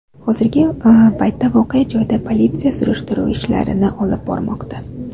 Hozirgi paytda voqea joyida politsiya surishtiruv ishlarini olib bormoqda.